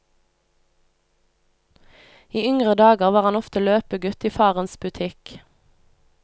I yngre dager var han ofte løpegutt i farens butikk.